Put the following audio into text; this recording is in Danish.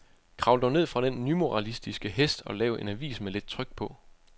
Kravl dog ned fra den nymoralistiske hest og lav en avis med lidt tryk på.